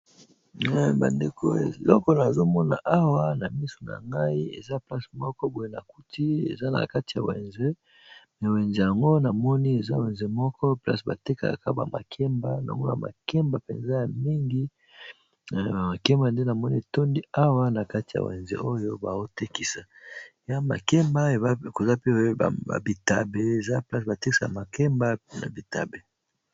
Bandeko eloko nazo mona awa na misu na ngai eza place moko boye na kuti eza na kati ya wenze wenze yango na moni eza wenze moko place ba tekaka ba makemba nao mona makemba mpenza ya mingi makemba nde na moni etondi awa na kati ya wenze oyo bao tekisa eya makemba koza pe ba bitabe eza place ba tekisaka makemba na bitabe.